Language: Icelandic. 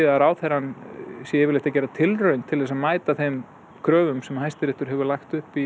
að ráðherrann sé yfirleitt að gera tilraun til að mæta þeim kröfum sem Hæstiréttur hefur lagt upp í